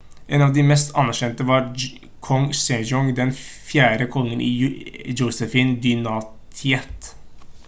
en av de mest anerkjente var kong sejong den 4. kongen i josefin-dynastiet